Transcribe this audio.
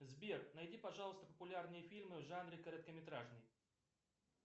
сбер найди пожалуйста популярные фильмы в жанре короткометражный